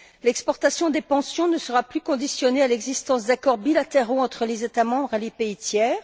L'exportation des pensions ne sera plus conditionnée à l'existence d'accords bilatéraux entre les États membres et les pays tiers.